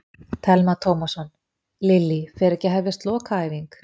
Telma Tómasson: Lillý, fer ekki að hefjast lokaæfing?